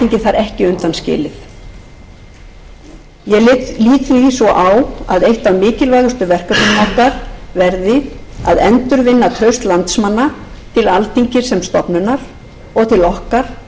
ekki undanskilið ég lít því svo á að eitt af mikilvægustu verkefnum okkar verði að endurvinna traust landsmanna til alþingis sem stofnunar og til okkar